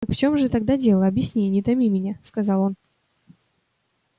так в чём же тогда дело объясни не томи меня сказал он